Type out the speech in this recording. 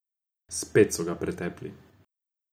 Spet so ga pretepli.